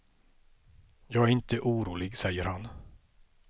Jag är inte orolig, säger han.